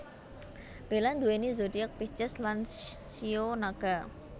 Bella nduweni zodiak Pisces lan shio Naga